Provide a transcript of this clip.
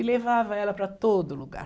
E levava ela para todo lugar.